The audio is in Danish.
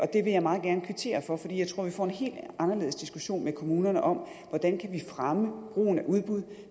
det vil jeg meget gerne kvittere for for jeg tror at vi får en helt anderledes diskussion med kommunerne om hvordan vi kan fremme brugen af udbud